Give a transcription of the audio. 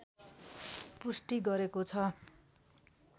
पुष्टि गरेको छ